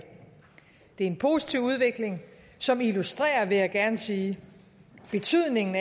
det er en positiv udvikling som illustrerer vil jeg gerne sige betydningen